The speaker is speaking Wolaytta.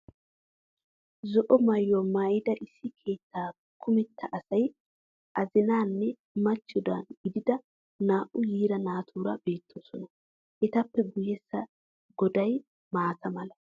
Zo"o maayuwa maayida issi keettaa kumetta asay azina nne machcho gididi naa"u yiira naatuura beettoosona. Etappe guyyessa goday maata mala.